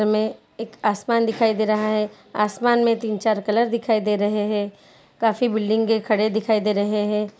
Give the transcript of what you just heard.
चित्र में एक आसमान दिखाई दे रहा है आसमान मैं तीन चार कलर दिखाई दे रहे है काफी बिल्डिंगे खड़े दिखाई दे रहे हैं।